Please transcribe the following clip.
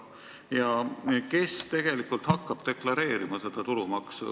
Ja kes hakkab seda tulumaksu deklareerima?